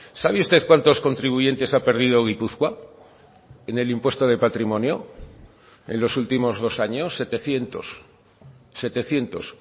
sabe usted cuantos contribuyentes ha perdido gipuzkoa en el impuesto de patrimonio en los últimos dos años setecientos setecientos